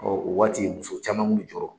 Ɔ o waati muso caman kun bi jɔrɔ